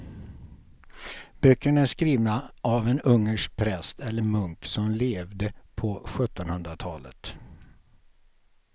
Böckerna är skrivna av en ungersk präst eller munk som levde på sjuttonhundratalet.